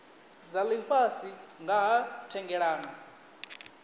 dza lifhasi nga ha thendelano